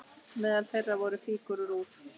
Meðal þeirra voru fígúrur úr